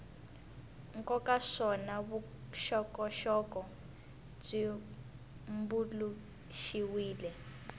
nkoka naswona vuxokoxoko byi tumbuluxiwile